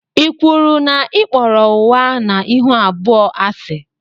i kwụrụ na i kpọrọ ụgha na ịhụ abụọ asi?